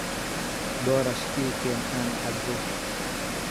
Boorash ii keen aan cabbo.